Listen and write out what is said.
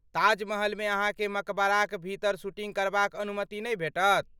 ताजमहलमे अहाँकेँ मकबराक भीतर शूटिंग करबाक अनुमति नै भेटत।